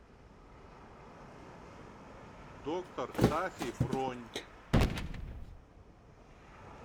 доктор тафи бронь